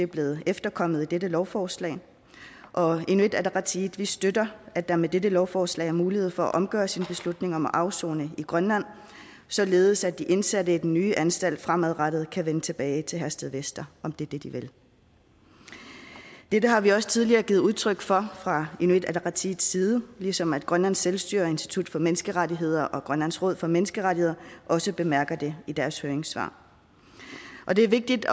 blevet efterkommet i dette lovforslag og i inuit ataqatigiit støtter at der med dette lovforslag er mulighed for at omgøre sin beslutning om at afsone i grønland således at de indsatte i den nye anstalt fremadrettet kan vende tilbage til herstedvester om det er det de vil dette har vi også tidligere givet udtryk for fra inuit ataqatigiits side ligesom grønlands selvstyres institut for menneskerettigheder og grønlands råd for menneskerettigheder også bemærker det i deres høringssvar og det er vigtigt